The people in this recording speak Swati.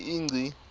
ingci